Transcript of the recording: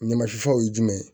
Ɲamasifaw ye jumɛn ye